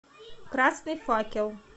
красный факел